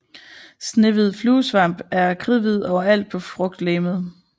Snehvid fluesvamp er kridhvid overalt på frugtlegemet